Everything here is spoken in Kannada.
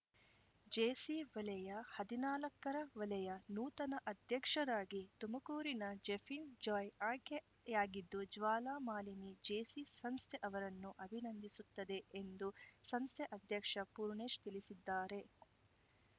ಜೇಸಿ ವಲಯ ಹದಿನಾಲ್ಕರ ವಲಯ ನೂತನ ಅಧ್ಯಕ್ಷರಾಗಿ ತುಮಕೂರಿನ ಜೆಫಿನ್‌ ಜಾಯ್‌ ಆಯ್ಕೆಯಾಗಿದ್ದು ಜ್ವಾಲಾಮಾಲಿನಿ ಜೇಸಿ ಸಂಸ್ಥೆ ಅವರನ್ನು ಅಭಿನಂದಿಸುತ್ತದೆ ಎಂದು ಸಂಸ್ಥೆ ಅಧ್ಯಕ್ಷ ಪೂರ್ಣೇಶ್‌ ತಿಳಿಸಿದ್ದಾರೆ